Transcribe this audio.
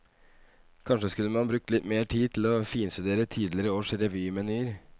Kanskje skulle man brukt litt mer tid til å finstudere tidligere års revymenyer.